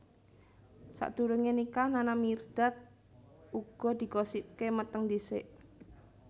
Sadurungé nikah Nana Mirdad uga digosipaké meteng dhisik